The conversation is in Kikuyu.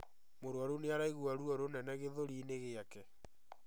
Mũrwaru nĩaraigua ruo rũnene gĩthũri-inĩ gĩake